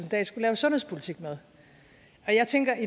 dahl skulle lave sundhedspolitik med jeg tænker at